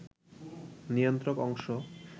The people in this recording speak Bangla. নিয়ন্ত্রক অংশ